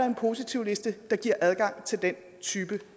en positivliste der giver adgang til den type